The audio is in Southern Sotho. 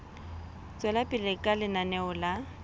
tswela pele ka lenaneo la